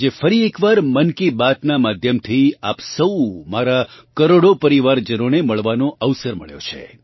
આજે ફરી એક વાર મન કી બાત નાં માધ્યમ થી આપ સૌ મારાં કરોડો પરિવારજનોને મળવાનો અવસર મળ્યો છે